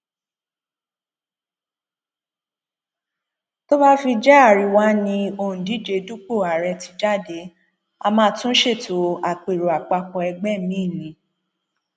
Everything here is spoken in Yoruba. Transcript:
tó bá fi jẹ àríwá ni òǹdíje dupò ààrẹ ti jáde á máa tún ṣètò àpérò àpapọ ẹgbẹ míín ni